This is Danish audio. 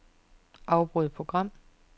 Afbryd program.